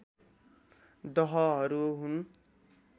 दहहरू हुन्